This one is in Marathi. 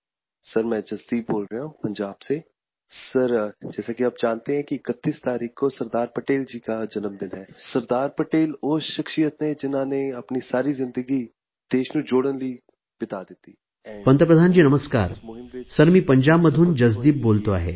सर मी पंजाबमधून जसदीप बोलतो आहे